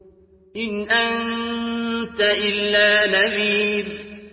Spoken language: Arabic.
إِنْ أَنتَ إِلَّا نَذِيرٌ